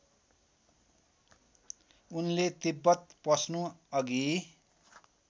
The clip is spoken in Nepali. उनले तिब्बत पस्नु अघि